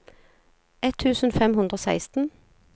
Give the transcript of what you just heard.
ett tusen fem hundre og seksten